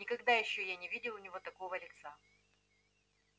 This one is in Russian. никогда ещё я не видел у него такого лица